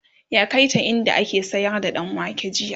ya kaita inda ake sayar da ɗanwake jiya